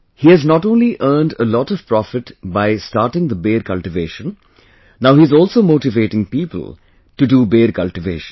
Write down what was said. He has not only earned a lot of profit by starting the Ber cultivation; Now he is also motivating people to do Ber cultivation